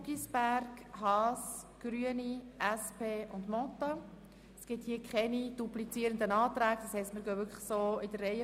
Im Voranschlag 2018 ist der Saldo der Produktgruppe 5.7.7 «Angebote für Menschen mit einem Pflege-, Betreuungs-, besonderen Bildungsbedarf» um CHF 6,5 Millionen zu erhöhen.